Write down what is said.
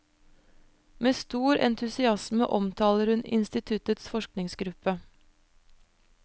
Med stor entusiasme omtaler hun instituttets forskningsgruppe.